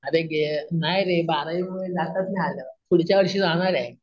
अरे गे अम नाही रे बारावी मुले जाताच नाही आलं पुढच्या वर्षी जाणार आहे.